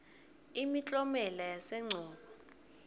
imiklonielo yasehcobo